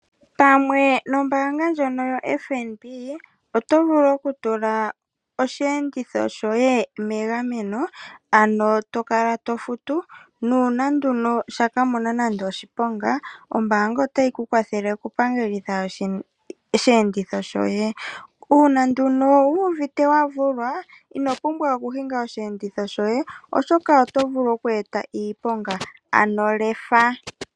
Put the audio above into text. Pamwe nombaanga ndjono yo FNB, oto value okutula osheenditho shoye megameno, ano yokala to future, nuuna nduno Sha ka mona nando oshiponga, ombaanga ota yi ku kwathele oku pangelitha osheenditho shoye. Uuna nduno wuuviye wavulwa, ino pumbwa oku hinga osheenditho shoye oshoka oto vu okweeta iiponga. Ano lefa.